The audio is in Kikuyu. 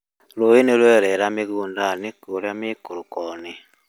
Rũĩ nĩ rwarera mĩgũnda-inĩ kũũrĩa mĩikũroko-inĩ